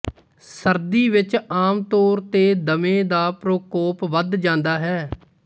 ਸਰਦੀ ਵਿੱਚ ਆਮ ਤੌਰ ਤੇ ਦਮੇ ਦਾ ਪ੍ਰਕੋਪ ਵਧ ਜਾਂਦਾ ਹੈ